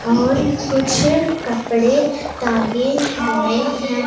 और कुछ कपड़े टांगे हुए हैं।